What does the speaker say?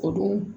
Ko don